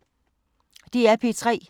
DR P3